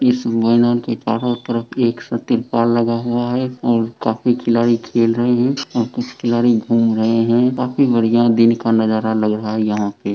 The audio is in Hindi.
इस मैदान के चारों तरफ एक सा तिरपाल लगा हुआ है और काफी खिलाड़ी खेल रहे हैं और कुछ खिलाड़ी घूम रहे हैं काफी बढ़िया दिन का नजारा लग रहा है यहाँ पे।